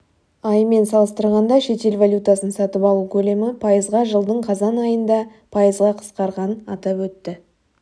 айымен салыстырғанда шетел валютасын сатып алу көлемі пайызға жылдың қазайын айында пайызға қысқарған атап өтті